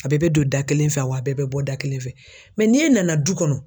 A bɛɛ bɛ don da kelen fɛ wa a bɛɛ bɛ bɔ da kelen fɛ. n'e nana du kɔnɔ